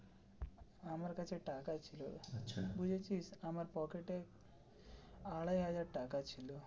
আমার কাছে টাকা ছিল বুঝেছিস আমার পকেটে আড়াই হাজার টাকা ছিল.